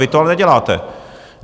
Vy to ale neděláte.